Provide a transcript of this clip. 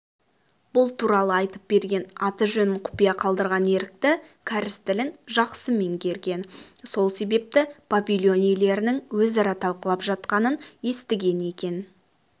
бұл туралы айтып берген аты-жөнін құпия қалдырған ерікті кәріс тілін жақсы меңгерген сол себепті павильон иелерінің өзара талқылап жатқанын естіген екен